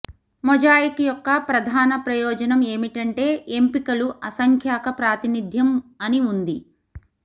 mosaic యొక్క ప్రధాన ప్రయోజనం ఏమిటంటే ఎంపికలు అసంఖ్యాక ప్రాతినిధ్యం అని ఉంది